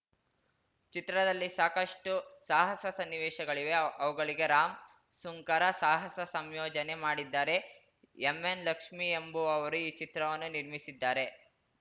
ಚಿತ್ರದಲ್ಲಿ ಸಾಕಷ್ಟುಸಾಹಸ ಸನ್ನಿವೇಶಗಳಿವೆ ಅವುಗಳಿಗೆ ರಾಮ್‌ ಸುಂಕರ ಸಾಹಸ ಸಂಯೋಜನೆ ಮಾಡಿದ್ದಾರೆ ಎಂ ಎನ್‌ ಲಕ್ಷ್ಮೀ ಎಂಬುವವರು ಈ ಚಿತ್ರವನ್ನು ನಿರ್ಮಿಸಿದ್ದಾರೆ